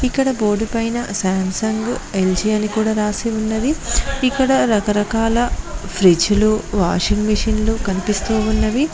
ఇక్కడ బోర్డు పైన Samsung LG అని కూడా రాసి ఉన్నది ఇక్కడ రకరకాల ఫ్రిజ్ లు వాషింగ్ మిషన్ లు కనిపిస్తూ ఉన్నవి.